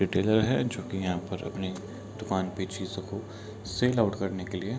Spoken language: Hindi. रिटेलर है जो की यहाँ पर अपने दुकान पे चीजों को सेल आउट करने के लिए --